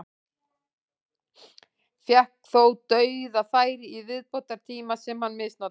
Fékk þó dauðafæri í viðbótartíma sem hann misnotaði.